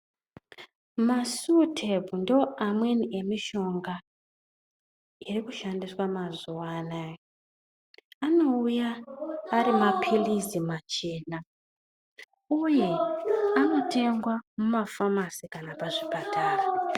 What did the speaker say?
Masutepu ndoamweni emishonga irikushandiswe mazuwa anaya anouya ari mapirizi machena uye anotengwa mumafamasi kana pazvipatara.